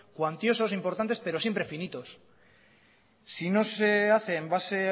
cuantiosos importantes pero siempre finitos si no se hace en base